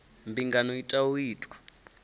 mbingano i tea u itwa